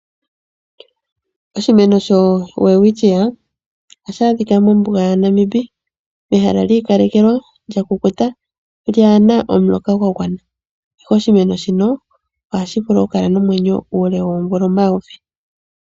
Oshimeno shoWelwitschia ohashi adhika mombuga yaNamib, ehala li ikalekelwa, lyakukuta , lyaana omuloka gwa gwana ihe oshimeno shino ohashi vulu okukala nomwenyo uule woomvula omayovi.